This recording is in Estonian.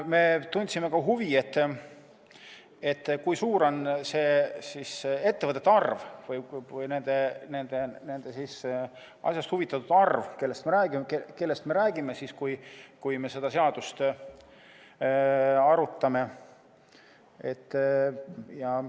Me tundsime ka huvi, kui suur on ettevõtete arv või nende asjast huvitatute arv, kellest me räägime siis, kui me seda seadust arutame.